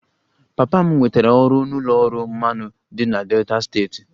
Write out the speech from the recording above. Papa m nwetara ọrụ n'ụlọ ọrụ mmanụ dị na Delta steeti